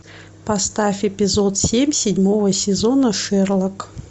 поставь эпизод семь седьмого сезона шерлок